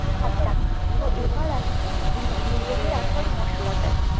আচ্ছা তো এবার আসি, বিরিয়ানির আসল মশলাটায়।